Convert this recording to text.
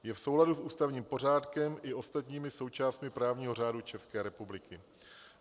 Je v souladu s ústavním pořádkem i ostatními součástmi právního řádu České republiky.